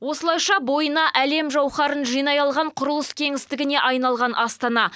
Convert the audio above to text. осылайша бойына әлем жауһарын жинай алған құрылыс кеңістігіне айналған астана